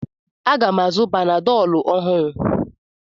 M ga-azụ panadọlu ọhụrụ.